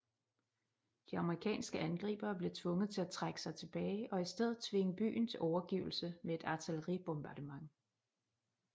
De amerikanske angribere blev tvunget til at trække sig tilbage og i stedet tvinge byen til overgivelse med et artilleribombardement